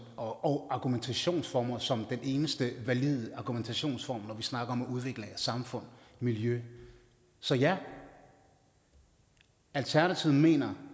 og argumentationsformer som den eneste valide argumentationsform når vi snakker om at udvikle samfund og miljø så ja alternativet mener